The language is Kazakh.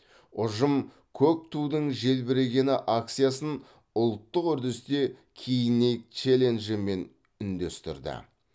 ұжым көк тудың желбірегені акциясын ұлттық үрдісте киінейік челленджімен үндестірді